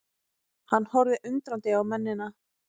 Hann horfði undrandi á mennina.